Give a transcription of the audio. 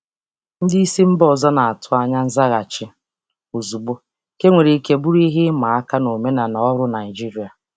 Ndị um oga si mba ọzọ na-atụ anya nzaghachi ozugbo, um nke nwere ike ịbụ ihe siri ike n'omenala ọrụ Naịjirịa.